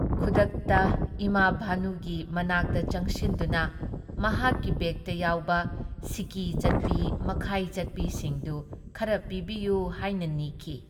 ꯈꯨꯗꯛꯇ ꯏꯃꯥ ꯚꯥꯅꯨꯒꯤ ꯃꯅꯥꯛꯇ ꯆꯪꯁꯤꯟꯗꯨꯅ ꯃꯍꯥꯛꯀꯤ ꯕꯦꯒꯇ ꯌꯥꯎꯕ ꯁꯤꯀꯤ ꯆꯠꯄꯤ ꯃꯈꯥꯏ ꯆꯠꯄꯤꯁꯤꯡꯗꯨ ꯈꯔ ꯄꯤꯕꯤꯌꯨ ꯍꯥꯏꯅ ꯅꯤꯈꯤ ꯫